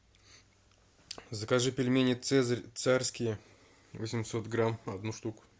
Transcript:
закажи пельмени цезарь царские восемьсот грамм одну штуку